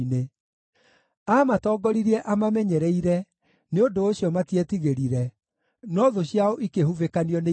Aamatongoririe amamenyereire, nĩ ũndũ ũcio matietigĩrire; no thũ ciao ikĩhubĩkanio nĩ iria.